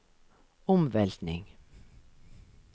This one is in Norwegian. omveltning